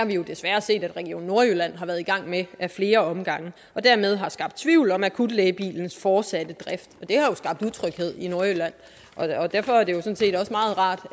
vi jo desværre set region nordjylland har været i gang med ad flere omgange og dermed har skabt tvivl om akutlægebilens fortsatte drift det har jo skabt utryghed i nordjylland og derfor er det så sådan set også meget rart